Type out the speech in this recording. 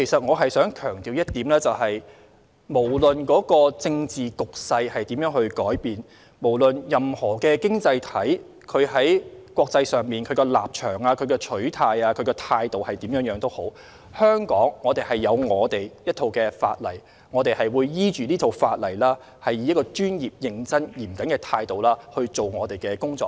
我想強調一點，無論政治局勢如何改變、無論任何經濟體在國際上的立場、取態或態度為何，香港有自己的一套法例，我們會依據這套法例，以專業、認真和嚴謹的態度來執行我們的工作。